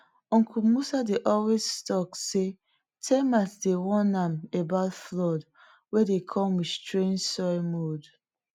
uncle musa dey always talk sey termite dey warn am about floods wey de come with strange soil mounds